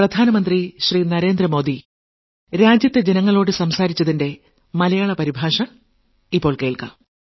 0 ഒന്നാം ലക്കം